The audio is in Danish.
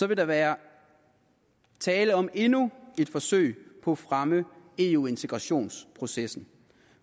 vil der være tale om endnu et forsøg på at fremme eu integrationsprocessen